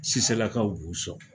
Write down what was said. Siselakaw b'u sɔn